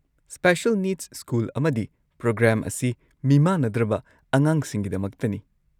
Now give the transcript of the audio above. Special needs school ꯑꯃꯗꯤ programme ꯑꯁꯤ ꯃꯤꯃꯥꯟꯅꯗ꯭ꯔꯕ ꯑꯉꯥꯡꯁꯤꯡꯒꯤꯗꯃꯛꯇꯅꯤ꯫